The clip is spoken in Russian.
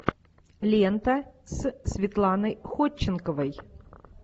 лента с светланой ходченковой